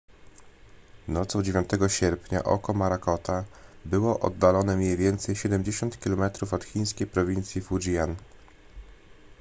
nocą 9 sierpnia oko morakota było oddalone mniej więcej siedemdziesiąt kilometrów od chińskiej prowincji fujian